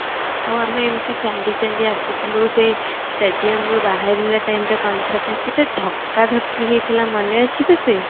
ଆଉ ଆମେ ଏମିତି ଚାଲୁ ଚାଲୁ ଆସୁଥିଲୁ ସେଇ stadium ରୁ ବାହାରିବା time ରେ କେତେ ଧକା ଧକି ହେଇଥିଲା ମନେଅଛି ତୋତେ